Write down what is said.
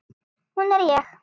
Hún er ég.